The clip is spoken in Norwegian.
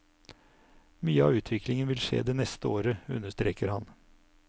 Mye av utviklingen vil skje det neste året, understreker han.